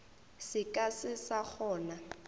se ka se sa kgona